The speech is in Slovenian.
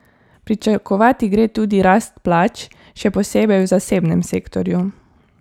Pričakovati gre tudi rast plač, še posebej v zasebnem sektorju.